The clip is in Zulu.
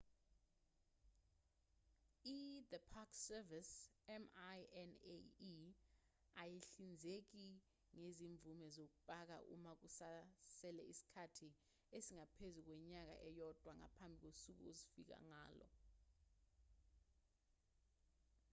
i-the park service minae ayihlinzeki ngezimvume zokupaka uma kusasele isikhathi esingaphezu kwenyanga eyodwa ngaphambi kosuku ozofika ngalo